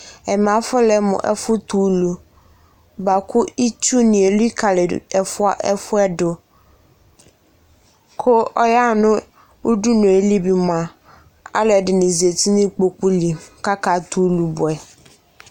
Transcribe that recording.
Ɛmɛ afɔlɛ mʋ ɛfʋtɛ ulu bʋa kʋ itsunɩ elikali ɛfʋ yɛ dʋ, kʋ ɔyaɣa nʋ udunu yɛ li bɩ mʋa, alʋ ɛdɩnɩ zati nʋ ikpoku li Kʋ akatɛ ulu bʋɛ